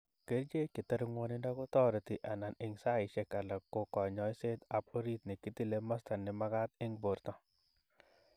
Kerchek chetare ngwonindo kotoreti anan ing saishek alak ko konyoiset ap orit ne kitile masta ne makat ing porto.